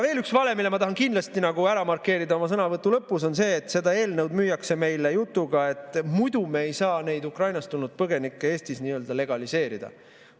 Veel üks vale, mille ma tahan kindlasti ära markeerida oma sõnavõtu lõpus, on see, et seda eelnõu müüakse meile jutuga, et muidu me ei saa neid Ukrainast tulnud põgenikke Eestis legaliseerida.